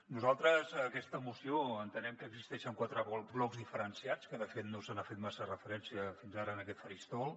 nosaltres a aquesta moció entenem que existeixen quatre blocs diferenciats que de fet no s’hi ha fet massa referència fins ara en aquest faristol